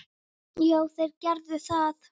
Já, þeir gerðu það.